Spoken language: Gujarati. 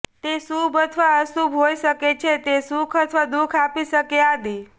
તે શુભ અથવા અશુભ હોય શકે છે તે સુખ અથવા દુઃખ આપી શકે આદિ